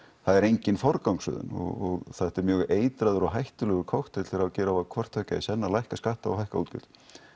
það er engin forgangsröðun og þetta er mjög eitraður og hættulegur kokteill þegar gera á hvort tveggja í senn að lækka skatta og hækka útgjöld